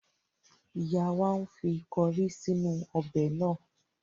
Ìyá wa ń fi kọrí sínú ọbẹ̀ náà.